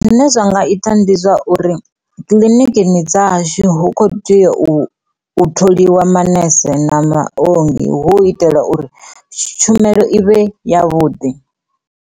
Zwine zwa nga ita ndi zwa uri kiliniki dza hashu hu kho teya u tholiwa manese na maongi hu itela uri tshumelo ivhe ya vhuḓi.